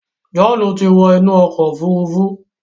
John tí wọ inú okò òfurufú